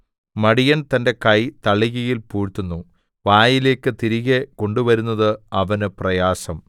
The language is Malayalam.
മടിയൻ തന്റെ കൈ തളികയിൽ പൂഴ്ത്തുന്നു വായിലേക്ക് തിരികെ കൊണ്ടുവരുന്നത് അവനു പ്രയാസം